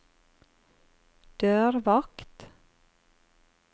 dørvakt